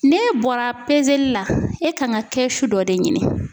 N'e bɔra la e kan ka kɛ su dɔ de ɲini